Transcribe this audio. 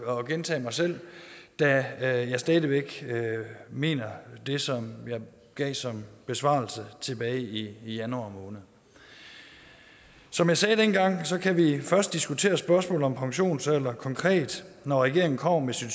at gentage mig selv da jeg stadig væk mener det som jeg gav som besvarelse tilbage i januar måned som jeg sagde dengang kan vi først diskutere spørgsmålet om pensionsalder konkret når regeringen kommer med sit